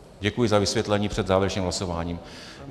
Děkuji za vysvětlení před závěrečným hlasováním.